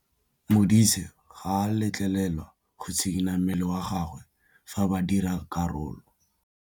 Modise ga a letlelelwa go tshikinya mmele wa gagwe fa ba dira karô.